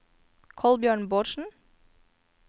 Kolbjørn Bårdsen